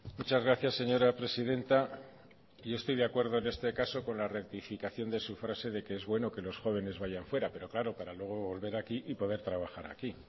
muchas gracias señora presidenta yo estoy de acuerdo en este caso con la rectificación de su frase de que es bueno que los jóvenes vayan fuera pero claro para luego volver aquí y poder trabajar aquí